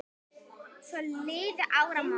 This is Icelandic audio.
Svo liðu áramót.